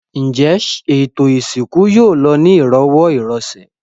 Ǹjẹ́ ètò ìsìnkú yóò lọ ní ìrọ̀wọ́-ìrọsẹ̀?